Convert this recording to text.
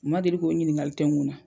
U ma deli ko ɲininkali tɛkun na.